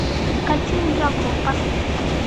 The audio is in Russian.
картина дракула поставь